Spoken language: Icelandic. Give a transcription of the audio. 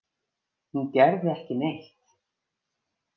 Hún gerði ekki neitt.